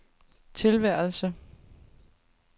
tilværelse